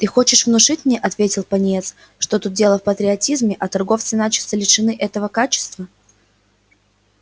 ты хочешь внушить мне ответил пониетс что тут дело в патриотизме а торговцы начисто лишены этого качества